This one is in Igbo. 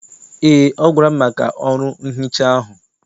Eé, ọ gwara m maka ọrụ nhicha ahụ.